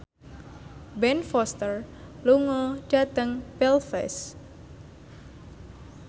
Ben Foster lunga dhateng Belfast